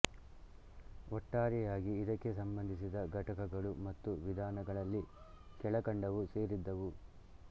ಒಟ್ಟಾರೆಯಾಗಿ ಇದಕ್ಕೆ ಸಂಬಂಧಿಸಿದ ಘಟಕಗಳು ಮತ್ತು ವಿಧಾನಗಳಲ್ಲಿ ಕೆಳಕಂಡವು ಸೇರಿದ್ದವು